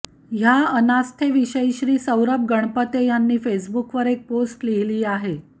ह्या अनास्थेविषयी श्री सौरभ गणपत्ये ह्यांनी फेसबुकवर एक पोस्ट लिहिली आहे